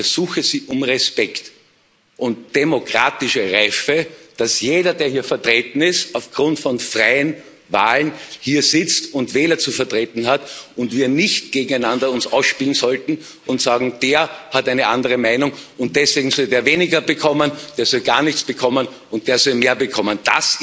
Ich ersuche Sie um Respekt und demokratische Reife, dass jeder, der hier vertreten ist, auf Grund von freien Wahlen hier sitzt und Wähler zu vertreten hat, und wir uns nicht gegeneinander ausspielen sollten und sagen Der hat eine andere Meinung, deswegen soll der weniger bekommen, der soll gar nichts bekommen, und der soll mehr bekommen.